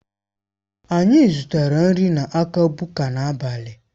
Anyị zụtara nri n'aka Buka n'abalị a.